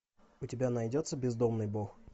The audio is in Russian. у тебя найдется бездомный бог